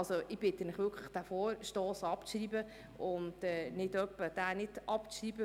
Deshalb bitte ich Sie, diesen Vorstoss wirklich abzuschreiben.